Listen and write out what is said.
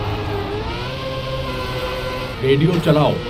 radio چلاؤ